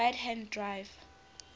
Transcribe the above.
right hand drive